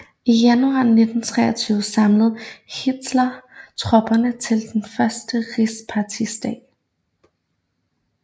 I januar 1923 samlede Hitler tropperne til de første Rigspartidage